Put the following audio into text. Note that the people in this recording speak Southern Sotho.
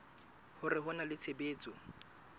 hore ho na le tshebetso